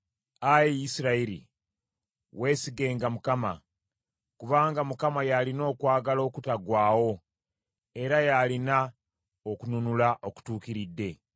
Ayi Isirayiri, weesigenga Mukama , kubanga Mukama y’alina okwagala okutaggwaawo; era y’alina okununula okutuukiridde.